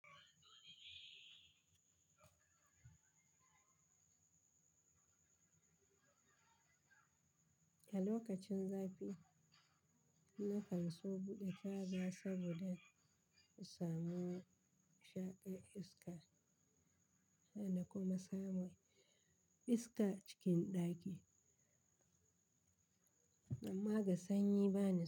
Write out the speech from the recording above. A lokacin zafi, na kan so buɗe kaza saboda in samu shaƙin iska, hana kuma samun iska cikin ɗaki. Amma ga sanyi bana.